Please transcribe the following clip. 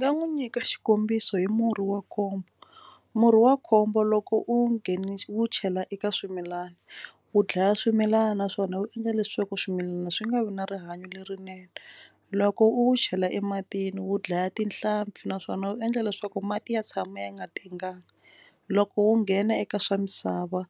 Ndzi nga n'wi nyika xikombiso hi murhi wa khombo murhi wa khombo loko u wu chela eka swimilana wu dlaya swimilana naswona wu endla leswaku swimilana swi nga vi na rihanyo lerinene. Loko u wu chela ematini wu dlaya tinhlampfi naswona wu endla leswaku mati ya tshama ya nga tengangi. Loko wu nghena eka swa misava